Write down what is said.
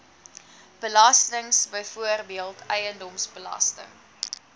belastings byvoorbeeld eiendomsbelasting